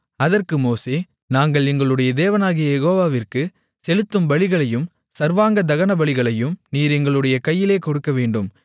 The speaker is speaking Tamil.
அதற்கு மோசே நாங்கள் எங்களுடைய தேவனாகிய யெகோவாவிற்கு செலுத்தும் பலிகளையும் சர்வாங்க தகனபலிகளையும் நீர் எங்களுடைய கையிலே கொடுக்கவேண்டும்